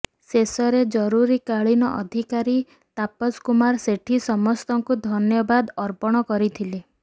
ଶେଷରେ ଜରୁରୀକାଳୀନ ଅଧିକାରୀ ତାପସ କୁମାର ସେଠୀ ସମସ୍ତଙ୍କୁ ଧନ୍ୟବାଦ ଅର୍ପଣ କରିଥିଲେ